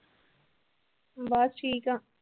ਬਸ ਠੀਕ ਆ